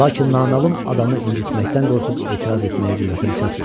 Lakin naməlum adamı incitməkdən qorxub etiraz etməyə cürətim çatmadı.